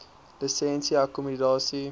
lisensie akkommodasie